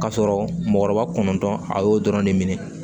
Ka sɔrɔ mɔgɔkɔrɔba kɔnɔntɔn a y'o dɔrɔn de minɛ